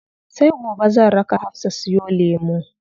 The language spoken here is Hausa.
Sai gobe zan raka Hafsa siyo lemu.